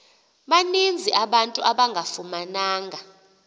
baninzi abantu abangafumananga